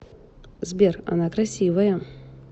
сбер она красивая